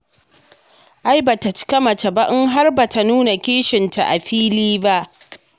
Ai ba ta cika mace ba in har ba ta nuna kishinta a fili ba.